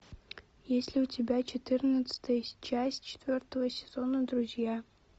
есть ли у тебя четырнадцатая часть четвертого сезона друзья